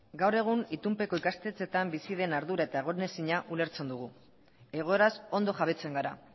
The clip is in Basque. gaur egun itunpeko ikastetxeetan bizi den ardura eta egonezina ulertzen dugu egoeraz ondo jabetzen gara